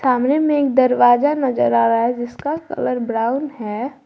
कमरे में एक दरवाजा नजर आ रहा है जिसका कलर ब्राउन है।